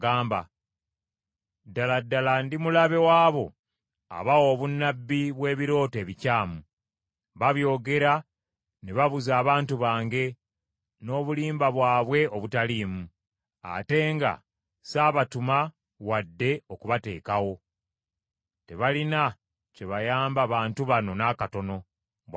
Ddala ddala ndi mulabe w’abo abawa obunnabbi bw’ebirooto ebikyamu. Babyogera ne babuza abantu bange n’obulimba bwabwe obutaliimu, ate nga saabatuma wadde okubateekawo. Tebalina kye bayamba bantu bano n’akatono,” bw’ayogera Mukama .